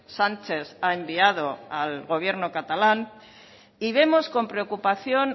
sánchez ha enviado al gobierno catalán y vemos con preocupación